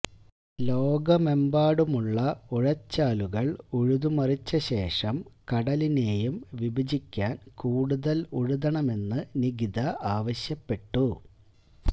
ലോകമെമ്പാടുമുള്ള ഉഴച്ചാലുകൾ ഉഴുതുമറിച്ച ശേഷം കടലിനെയും വിഭജിക്കാൻ കൂടുതൽ ഉഴുതണമെന്ന് നികിത ആവശ്യപ്പെട്ടു